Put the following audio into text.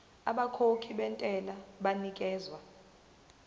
abakhokhi bentela banikezwa